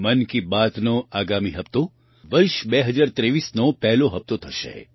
મન કી બાતનો આગામી હપ્તો વર્ષ 2023નો પહેલો હપ્તો થશે